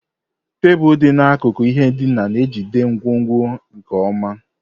Tebụl dị n'akụkụ ihe ndina na-ejide ngwongwo nkeonwe.